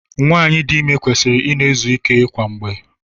Nwaanyị dị ime kwesịrị ị na-ezu ike kwa mgbe.